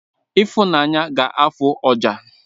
Ifunanya ga-afụ ọjà